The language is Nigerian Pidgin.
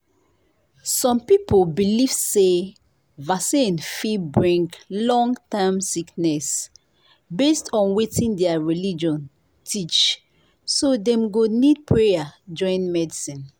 some people believe say vaccine fit bring long-term sickness based on wetin their religion teach so dem go need prayer join medicine.